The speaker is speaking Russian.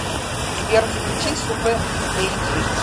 сбер включи супэ кэй джи